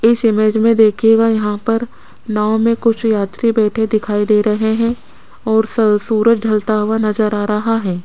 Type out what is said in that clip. इस इमेज में देखिएगा यहां पर नाव में कुछ यात्री बैठे दिखाई दे रहे हैं और स सूरज ढलता हुआ नजर आ रहा है।